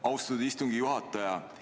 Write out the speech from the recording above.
Austatud istungi juhataja!